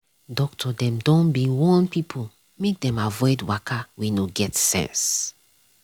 doctor dem don be warn pipo make dem avoid waka wey no get sense.